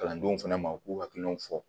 Kalandenw fana ma u k'u hakilinaw fɔ